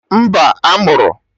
Mba, a mụrụ